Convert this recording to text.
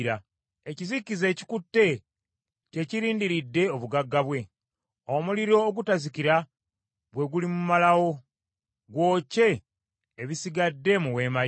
Ekizikiza ekikutte kye kirindiridde obugagga bwe. Omuliro ogutazikira gwe gulimumalawo, gwokye ebisigadde mu weema ye.